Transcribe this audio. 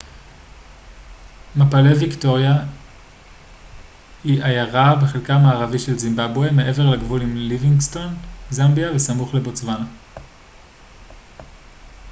מפלי ויקטוריה היא עיירה בחלקה המערבי של זימבבואה מעבר לגבול עם ליווינגסטון זמביה וסמוך לבוטסואנה